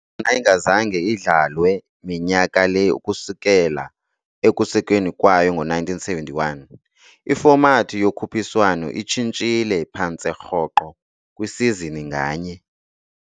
Ingazange idlalwe minyaka le ukusukela ekusekweni kwayo ngo-1971, ifomathi yokhuphiswano itshintshile phantse rhoqo kwisizini nganye.